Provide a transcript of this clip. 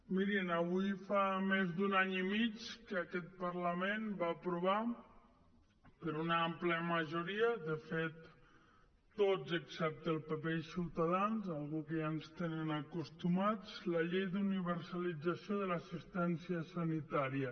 mirin avui fa més d’un any i mig que aquest parlament va aprovar per una àmplia majoria de fet tots excepte el pp i ciutadans una cosa a què ja ens tenen acostumats la llei d’universalització de l’assistència sanitària